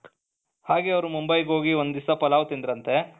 ಹಾಗೆ ಅವರು ಮುಂಬೈಗೆ ಹೋಗಿ ಒಂದು ದಿವಸ ಪಲಾವ್ ತಿಂದ್ರಂತೆ,